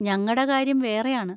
ഞങ്ങടെ കാര്യം വേറെയാണ്!